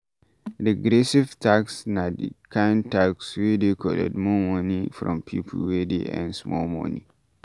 Regressive tax na di kind tax wey dey collect more money from pipo wey dey earn small money